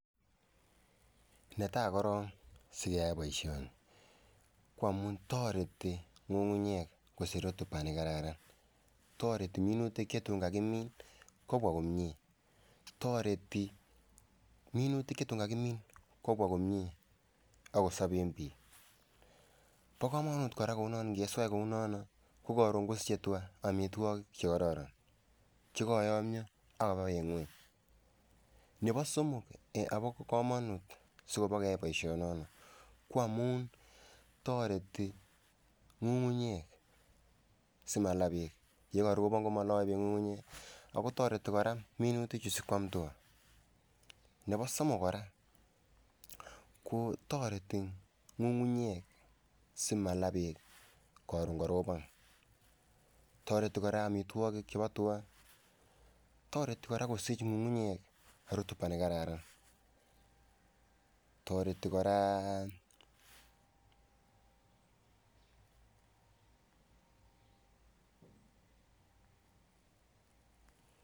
Netai korong sikeyai boisiioni ko amun toreti ng'ung'unyek kosich rotuba ne kararan. Toreti minutik ye tun kagimin kobwa komie. Toreti minutik yetun kagimin kobwa komie ak kosoben biik. Bo komonut kora kounon ingeswach kounono ko koron kosiche tuga amitwogik chekororon che koyomnyo ak koba beek ngweny. Nebo somok agoba komonut sikeyai boisioni ko amun toreti ng'ung'nyek simalaa beek, ye karobon komoloe beek ng'ung'unyek ago toreti kora minutik chu sikoam tuga. Nebo somok kora ko toreti ng'ung'unyek simala beek koron korobon. Toreti kora amitwogik chebo tuga, toreti kora kosich ng'ung'unyek rotuba ne kararan. Toreti kora.